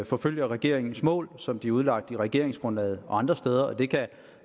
forfølger regeringens mål som de er udlagt i regeringsgrundlaget og andre steder